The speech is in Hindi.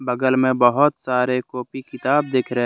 बगल में बहुत सारे कॉपी किताब दिख रहे--